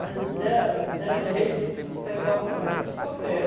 Se der der jeito de a gente pegar um para comer, a gente come mesmo.